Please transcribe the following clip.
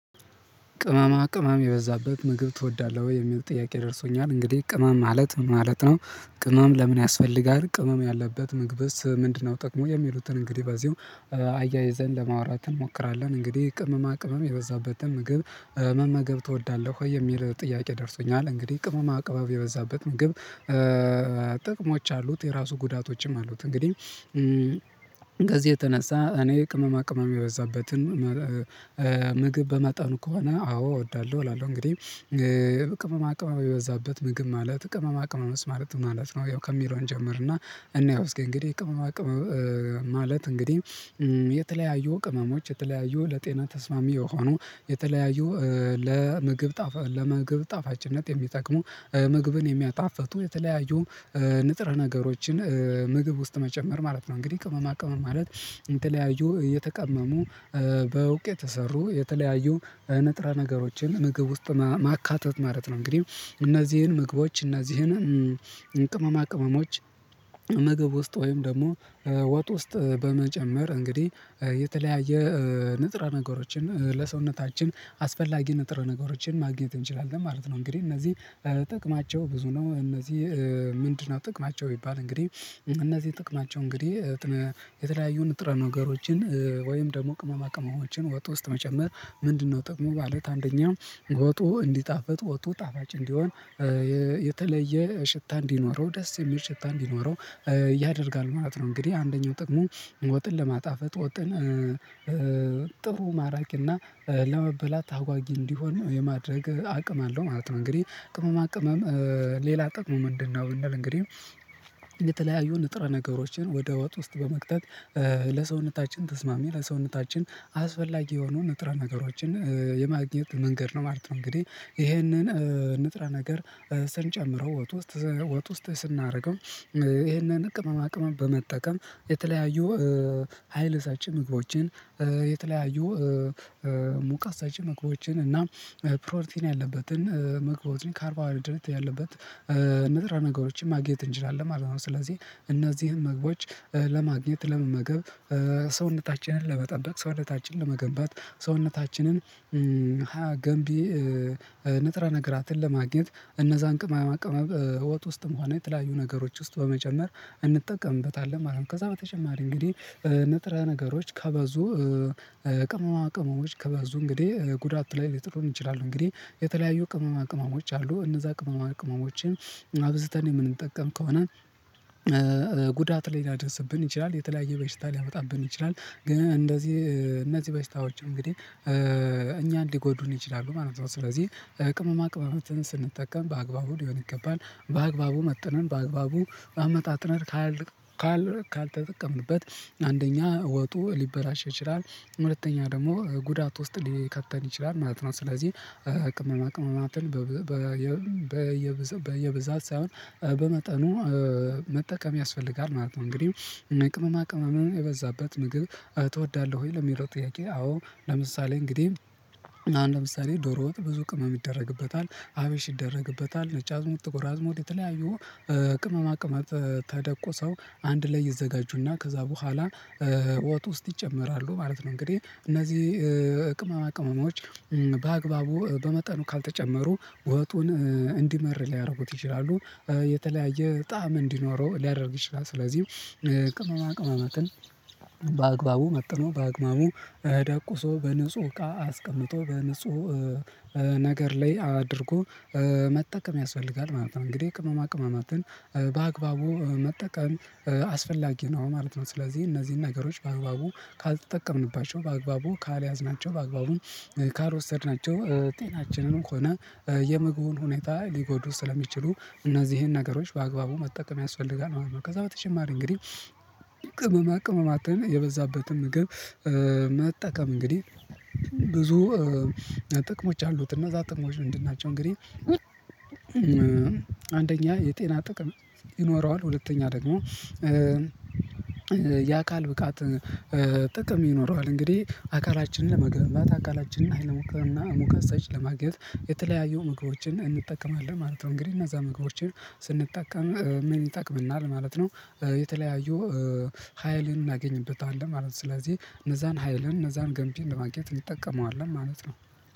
ቅመማ ቅመም የበዛበት ምግብ ትወዳለህ ወይ የሚል ጥያቄ ደርሶኛል እንግዲህ ቅመም ማለት ምን ማለት ነው? ቅመም ለምን ያስፈልጋል ቅመም ያለበት ምግብስ ምንድነው ጥቅሙ የሚሉትን እንግዲህ በዚሁ አያይዘን ለማውራት እንሞክራለን። እንግዲህ ቅመማ ቅመም የበዛበትን ምግብ መመገብ ትወዳለህ ወይ የሚል ጥያቄ ደርሶኛል እንግዲህ ቅመማ ቅባብ የበዛበት ምግብ ጥቅሞች አሉት የራሱ ጉዳቶችም አሉት። እንግዲህ ከዚህ የተነሳ እኔ ቅመማ ቅመም የበዛበትን ምግብ በመጠኑ ከሆነ አዎ እወዳለሁ እላለሁ። እንግዲህ ቅመም የበዛበት ምግብ ማለት ቅመማ ቅመምስ ማለት ምን ማለት ነው? ያው ከሚለው እንጀምርና እንየው እስቲ እስኪ እንግዲህ ቅመማ ቅመማ ማለት እንግዲህ የተለያዩ ቅመሞች የተለያዩ ለጤና ተስማሚ የሆኑ የተለያዩ ለምግብ ጣፋ ለምግብ ጣፋጭነት የሚጠቅሙ ምግብን የሚያጣፍጡ የተለያዩ ንጥር ነገሮችን ምግብ ውስጥ መጨመር ማለት ነው። እንግዲህ ቅመማ ቅመም ማለት የተለያዩ የተቀመሙ ከውጤ የተሰሩ የተለያዩ ንጥረ ነገሮችን ምግብ ውስጥ ማካተት ማለት ነው። እንግዲህ እነዚህን ምግቦች እነዚህን ቅመማ ቅመሞች ምግብ ውስጥ ወይም ደግሞ ወጥ ውስጥ በመጨመር እንግዲህ የተለያየ ንጥረ ነገሮችን ለሰውነታችን አስፈላጊ ንጥረ ነገሮችን ማግኘት እንችላለን ማለት ነው። እንግዲህ እነዚህ ጥቅማቸው ብዙ ነው። እነዚህ ምንድነው ጥቅማቸው? ቢባል እንግዲህ እነዚህ ጥቅማቸው እንግዲህ ጥረ ነገሮችን ወይም ደግሞ ቅመማ ቅመሞችን ወጥ ውስጥ መጨመር ምንድነው ጥቅሙ ማለት አንደኛው ወጡ እንዲጣፈጥ ወጡ ጣፍጭ እንዲሆን የተለየ ሽታ እንዲኖረው ደስ የሚል ሽታ እንዲኖረው ያደርጋል ማለት ነው። እንግዲህ አንደኛው ጥቅሙ ወጥን ለማጣፈጥ ወጥን ጥሩ ማራኪ እና ለመበላት አጓጊ እንዲሆን የማድረግ አቅም አለው ማለት ነው። እንግዲህ ቅመማ ቅመም ሌላ ጥቅሙ ምንድነው? እንል እንግዲህ የተለያዩ ንጥረ ነገሮችን ወደ ወጥ ውስጥ በመክተት ለሰውነታችን ተስማሚ ለሰውነታችን አስፈላጊ የሆኑ ንጥረ ነገሮችን የማግኘት መንገድ ነው ማለት ነው። እንግዲህ ይሄንን ንጥረ ነገር ስንጨምረው ወጥ ውስጥ ወጥ ውስጥ ስናረገው ይሄንን አቅም አቅም በመጠቀም የተለያዩ ሀይል ሰጪ ምግቦችን የተለያዩ ሙቀት ሰጪ ምግቦችን እና ፕሮቲን ያለበትን ምግቦትን ካርቦ ሃይድሬት ያለበት ንጥረ ነገሮችን ማግኘት እንችላለን ማለት ነው። ስለዚህ እነዚህን ምግቦች ለማግኘት ለመመገብ ሰውነታችንን ለመጠበቅ ሰውነታችንን ለመገንባት ሰውነታችንን ሃያ ገንቢ ንጥረ ነገራትን ለማግኘት እነዛን ቅመማ ቅመም ወጥም ውስጥ ሆነ የተለያዩ ነገሮች ውስጥ በመጨመር እንጠቀምበታለን ማለት ነው። ከዛ በተጨማሪ እንግዲህ ንጥረ ነገሮች ከበዙ ቅመማ ቅመሞች ከበዙ እንግዲህ ጉዳት ላይ ሊጥሉን ይችላሉ። እንግዲህ የተለያዩ ቅመማ ቅመሞች አሉ እነዛ ቅመማ ቅመሞችን አብዝተን የምንጠቀም ከሆነ ጉዳት ላይ ሊያደርስብን ይችላል። የተለያየ በሸታ ሊያመጣብን ይችላል። ግን እንደዚህ እነዚህ በሽታዎች እንግዲህ እኛ ሊጎዱን ይችላሉ ማለት ነው። ስለዚህ ቅመማ ቅመሞችን ስንጠቀም በአግባቡ ሊሆን ይገባል በአግባቡ መጥነን በአግባቡ አመጣጥነን ካልተጠቀምንበት አንደኛ ወጡ ሊበላሽ ይችላል ሁለተኛ ደግሞ ጉዳት ውስጥ ሊከተን ይችላል ማለት ነው። ስለዚህ ቅመማ ቅመማትን በየብዛት ሳይሆን በመጠኑ መጠቀም ያስፈልጋል ማለት ነው። እንግዲህ ቅመማ ቅመም የበዛበት ምግብ ትወዳለህ ወይ? ለሚለው ጥያቄ አዎ ለምሳሌ እንግዲህ አሁን ለምሳሌ ዶሮ ወጥ ብዙ ቅመም ይደረግበታል አብሽ ይደረግበታል ነጭ አዝሙድ ጥቁር አዝሙድ የተለያዩ ቅመማ ቅመት ተደቁስው አንድ ላይ ይዘጋጁና ከዛ በኋላ ወጥ ውስጥ ይጨመራሉ ማለት ነው። እንግዲህ እነዚህ ቅመማ ቅመሞች በአግባቡ በመጠኑ ካልተጨመሩ ወጡን እንዲመር ሊያረጉት ይችላሉ የተለያየ ጣዕም እንዲኖረው ሊያደርግ ይችላል። ስለዚህ ቅመማ ቅመማትን በአግባቡ መጥኖ በአግባቡ ደቁሶ በንጹህ እቃ አስቀምጦ በንጹህ ነገር ላይ አድርጎ መጠቀም ያስፈልጋል ማለት ነው። እንግዲህ ቅመማ ቅመማትን በአግባቡ መጠቀም አስፈላጊ ነው ማለት ነው። ስለዚህ እነዚህን ነገሮች በአግባቡ ካልተጠቀምንባቸው በአግባቡ ካልያዝናቸው በአግባቡ ካልወሰድናቸው ጤናችንም ሆነ የምግቡን ሁኔታ ሊጎዱ ስለሚችሉ እነዚህን ነገሮች በአግባቡ መጠቀም ያስፈልጋል ማት ነው። ከዛ በተጨማሪ እንግዲህ ቅመማ ቅመማትን የበዛበትን ምግብ መጠቀም እንግዲህ ብዙ ጥቅሞች አሉት። እና ዛትጥቅሞች ምንድናቸው? እንግዲህ አንደኛ የጤና ጥቅም ይኖረዋል ሁለተኛ ደግሞ የአካል ብቃት ጥቅም ይኖረዋል። እንግዲህ አካላችንን መገንባት አካላችንን ኃይለሞክር እና ሙከ ሳይች ለማግኘት የተለያዩ ምግቦችን እንጠቀማለን ማለት ነው። እንግዲህ እነዛ ምግቦችን ስንጠቀም ምን ይጠቅመናል ማለት ነው። የተለያዩ ሀይልን እናገኝበታለን ማለት ነው። ስለዚህ እነዛን ሀይልን እነዛን ገንቢን ለማግኘት እንጠቀመዋለን ማለት ነው።